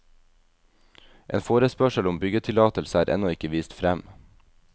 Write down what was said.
En forespørsel om byggetillatelse er ennå ikke vist frem.